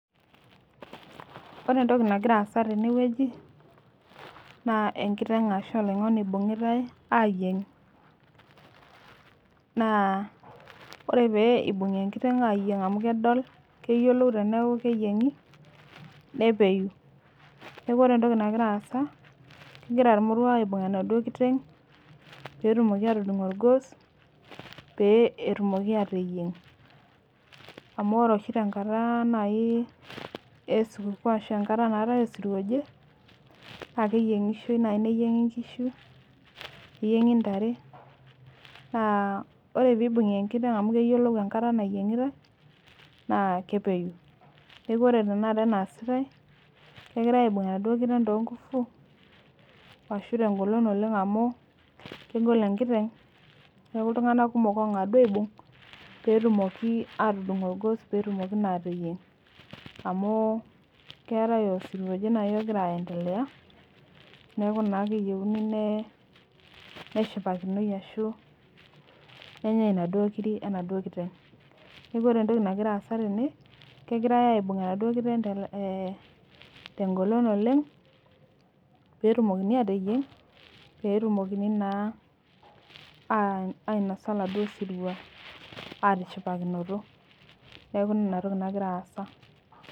Orentoki nagiraasa tenewueji naa enkiteng' ashu oloing'oni eibung'itai aayieng. Naa ore pee eibung'i enkiteng' aayieng' amu kedol keyiolou teneaku keyieng'i nepeyu, neaku orentoki nagiraasa kegira ilmoruak enaduo kiteng' peetumoki atudung' olgos pee etumoki aateyieng'. Amu ore oshi tenkata nai esukukuu aashu enkata naatai osirua loje, naakeeyieng'ishoi nai neyieng'i nkishu, neyieng'i ntare, naa ore peibung'i enkiteng' amu keyiolou enkata nayieng'itai naa kepeyu. Neaku ore tenakata enaasitai negirai aibung' enaduo kiteng' toonguffu ashu tengolon oleng' amu kegol enkiteng' neaku iltung'anak kumok oong'adu aibung' peetumoki atudung' olgos peetumoki naateyieng' amuu keatai osirua oje nai ogira aendelea neaku naa keyeuni nee neshipakinoi ashu nenyai inaduo kiri enaduo kiteng'. Neaku ore entoki nagiraasa tene kegirai aibung' enaduo kiteng' [teh] eeh tengolon oleng' peetumokini aateyieng' peetumokini naa aah ainosa laduo sirua atishipakinoto. Neaku inatoki nagiraasa.